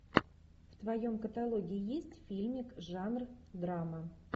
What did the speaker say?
в твоем каталоге есть фильмик жанр драма